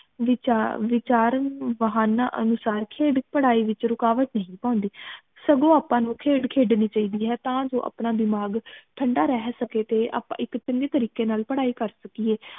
ਵਿਚਾਰ ਵਿਚਾਰਨ ਵਾਹਨਾਂ ਅਨੁਸਾਰ ਖੇਡ ਪੜ੍ਹਾਈ ਵਿਚ ਰੁਕਾਵਟ ਨਹੀਂ ਪਾਉਂਦੀ ਸਗੋਂ ਆਪਾ ਨੂੰ ਖੇਡ ਖੇਡਣੀ ਚਾਹੀਦੀ ਹੈ ਤਾ ਜੋ ਅਪਣਾ ਦਿਮਾਗ ਠੰਡਾ ਰਹਿ ਸਕੇ ਤੇ ਆਪਾ ਇਕ ਚੰਗੇ ਤਰੀਕੇ ਨਾਲ ਪੜ੍ਹਾਈ ਕਰ ਸਕੀਏ